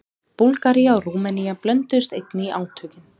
Búlgaría og Rúmenía blönduðust einnig í átökin.